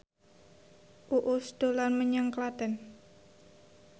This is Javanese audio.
Uus dolan menyang Klaten